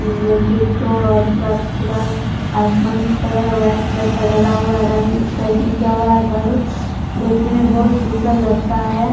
वे गेटो और पूरा-पूरा आसमानी कलर वाइट कलर का ढला हुआ है रंग पेन्‍टिंग किया हुआ है घर देेखने में बहुत सुंदर लगता है।